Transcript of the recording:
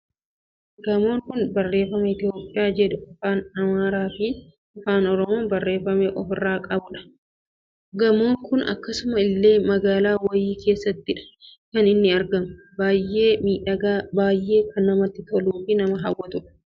Gamoon Kun, barreeffama Itoophiyaa jedhu Afaan Amaaraa fi Afaan oromoon barreeffame ofirraa kan qabudha. Gamoon Kun akkasuma illee magaala wayii keessattidha kan inni argamu. Baayyee miidhagaa, baayyee nama kan hawwatudha.